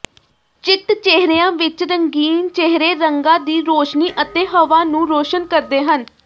ਚਿੱਤ ਚਿਹਰਿਆਂ ਵਿਚ ਰੰਗੀਨ ਚਿਹਰੇ ਰੰਗਾਂ ਦੀ ਰੌਸ਼ਨੀ ਅਤੇ ਹਵਾ ਨੂੰ ਰੌਸ਼ਨ ਕਰਦੇ ਹਨ